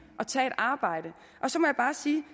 at tage et arbejde og så må jeg bare sige